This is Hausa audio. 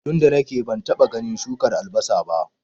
tunda nake bantaba ganin shukar albasa ba